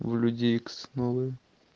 вы люди икс новые